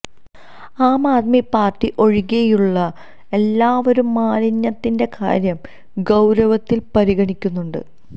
ആം Aadmi party ഒഴികെയുള്ള എല്ലാവരും മാലിന്യത്തിന്റെ കാര്യം ഗൌരവത്തിൽ പരിഗണിക്കുന്നുണ്ട്